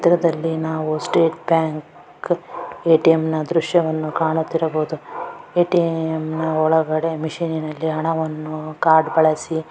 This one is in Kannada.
ಇದ್ರದಲ್ಲಿ ನಾವು ಸ್ಟೇಟ್ ಬ್ಯಾಂಕ್ ಎ.ಟಿ.ಎಮ್ ದೃಶವನ್ನು ಕಾಣುತ್ತಿರಬಹುದು ಎ.ಟಿ.ಎಮ್ ನ ಒಳಗಡೆ ಮಷೀನಿನಲ್ಲಿ ಹಣವನ್ನು ಕಾರ್ಡ್ ಬಳಸಿ --